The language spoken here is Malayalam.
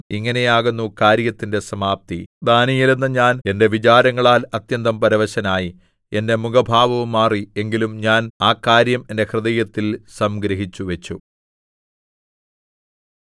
ഇങ്ങനെയാകുന്നു കാര്യത്തിന്റെ സമാപ്തി ദാനീയേൽ എന്ന ഞാൻ എന്റെ വിചാരങ്ങളാൽ അത്യന്തം പരവശനായി എന്റെ മുഖഭാവവും മാറി എങ്കിലും ഞാൻ ആ കാര്യം എന്റെ ഹൃദയത്തിൽ സംഗ്രഹിച്ചുവച്ചു